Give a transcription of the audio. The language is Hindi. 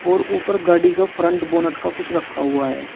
और ऊपर गाड़ी का फ्रंट बोनट का कुछ रखा हुआ है।